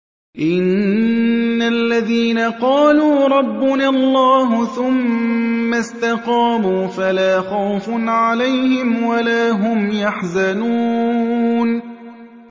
إِنَّ الَّذِينَ قَالُوا رَبُّنَا اللَّهُ ثُمَّ اسْتَقَامُوا فَلَا خَوْفٌ عَلَيْهِمْ وَلَا هُمْ يَحْزَنُونَ